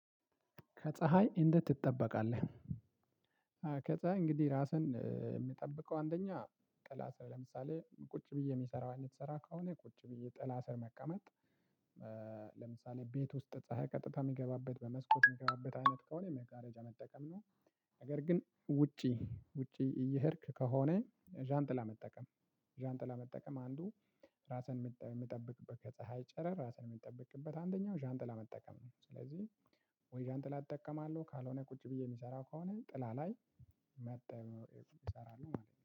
ከፀሀይ እንዴት ትጠበቃለህ? ከፀሀይ እንግዲህ ራስህን የምጠብቀው አንደኛ ጥላ ስር ለምሳሌ ቁጭ ብዬ የሚሰራው አይነት ስራ ከሆነ ቁጭ ብዬ ጥላ ስር መቀመጥ ለምሳሌ ቤት ውስጥ ፀሀይ ቀጥታ የሚገባበት በመስኮት የሚገባበት አይነት ከሆነ መጋረጃ መጠቀም ነው። ነገር ግን ውጪ ውጪ እየሄድክ ከሆነ ዣንጥላ መጠቀም። ዣንጥላ መጠቀም አንዱ ራስህን የምትጠብቅበት ከፀሀይ ጨረር ራስን የምትጠብቅበት አንደኛው ዣንጥላ መጠቀም ነው። ስለዚህ ወይ ዣንጥላ እጠቀማለሁ ካልሆነ ቁጭ ብዬ የሚሰራው ከሆነ ጥላ ላይ መጣ ይሰራል ማለት ነው።